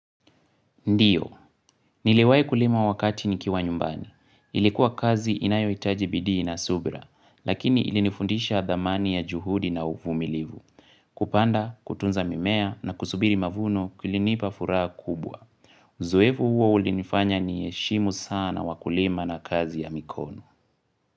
Ndio, niliwai kulima wakati nikiwa nyumbani. Ilikuwa kazi inayo hitaji bidii na subra, lakini ilinifundisha dhamani ya juhudi na uvumilivu. Kupanda, kutunza mimea na kusubiri mavuno kulinipa furaha kubwa. Zoevu huo ulinifanya ni heshimu sana wakulima na kazi ya mikono.